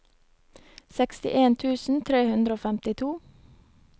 sekstien tusen tre hundre og femtito